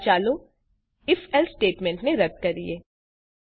પહેલા ચાલો if else સ્ટેટમેંટને રદ્દ કરીએ